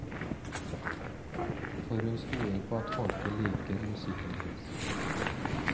For hun stoler på at folket liker musikken hennes.